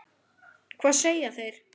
Hvað segja þeir?